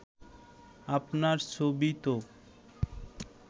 আপনার ছবি তো